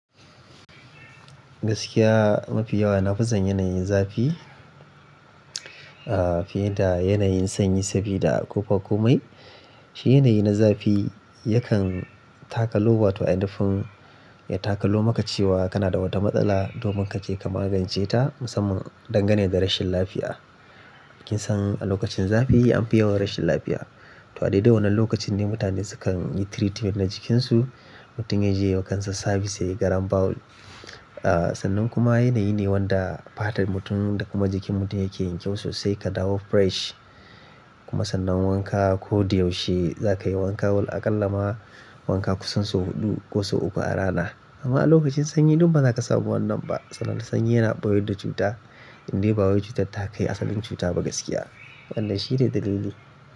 Gaskiya mafi yawa na fi son yanayin zafi, ah, fiye da yanayin sanyi, sabida ƙofa komai. Shi yanayi na zafi yakan takalo, wa toh a nufin ya takalo maka cewa kana da wata matsala domin ka je ka magance ta musamman dangane da rashin lafiya. Kin san a lokacin zafi an fi yawan rashin lafiya, toh a dai-dai wannan lokacin ne mutane sukan yi treatment na jikinsu. Mutum ya je kan sa service, yayi garambawul. Ah, sannan kuma yanayi ne wanda fatar mutum da kuma jikin mutum yake yin kyau sosai ka dawo fresh. Kuma sannan wanka ko da yaushe za ka yi wanka, wallah aƙalla ma wanka kusan sau huɗu ko sau uku a rana. Amma a lokacin sanyi duk ba za ta samu wannan ba. Saboda sanyi yana ɓayar da cuta indai ɓawar cutar ta kai asalin cuta ba gaskiya. Wannan shi ne dalili.